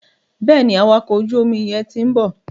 Bẹ́ẹ̀ni, awakọ̀ ojú omi yẹn ti ń bọ̀.